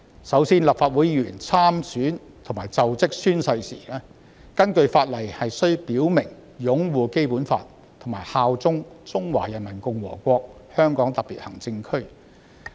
首先，立法會議員參選和作就職宣誓時，根據法例須表明擁護《基本法》，以及效忠中華人民共和國香港特別行政區。